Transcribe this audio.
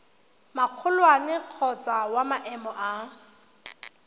magolwane kgotsa wa maemo a